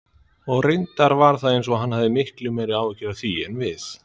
Og reyndar var eins og hann hefði miklu meiri áhyggjur af því en við.